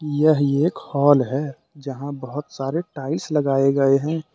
यह एक हाल है जहां बहुत सारे टाइल्स लगाए गए हैं।